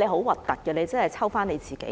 的很難看，只會反"抽"自己。